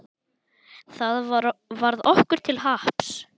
Það varð okkur til happs.